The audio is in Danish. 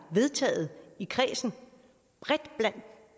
vedtaget i kredsen